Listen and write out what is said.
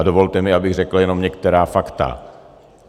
A dovolte mi, abych řekl jenom některá fakta.